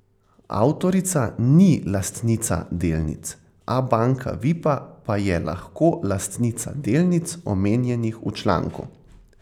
Avtorica ni lastnica delnic, Abanka Vipa pa je lahko lastnica delnic, omenjenih v članku.